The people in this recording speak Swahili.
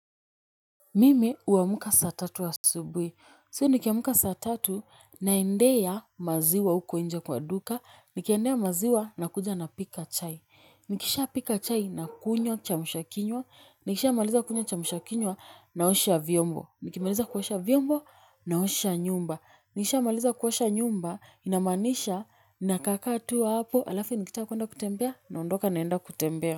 Mimi huamka saa tatu asubuhi. So nikiamka saa tatu naendea maziwa huko nje kwa duka. Nikiendea maziwa nakuja napika chai. Nikisha pika chai nakunywa kiamsha kinywa. Nikishamaliza kunywa kiamsha kinywa naosha vyombo. Nikimaliza kuosha vyombo naosha nyumba. Nikishamaliza kuosha nyumba inamaanisha nakaakaa tu hapo. Halafu nikitaka kuenda kutembea naondoka naenda kutembea.